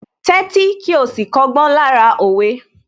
Tẹ́tí kí ó sì kọ́gbọ́n lára òwe